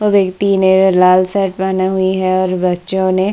वो व्यक्ति ने लाल सेट बना हुई है और बच्चों ने --